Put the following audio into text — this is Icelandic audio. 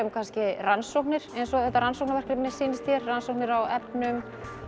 rannsóknir eins og þetta rannsóknarverkefni sýnis hér rannsóknir á efnum